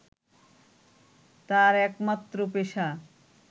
তাঁর একমাত্র পেশা